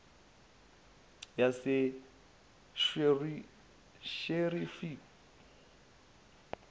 yasesherifi